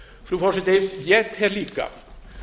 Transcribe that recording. frú forseti ég tel líka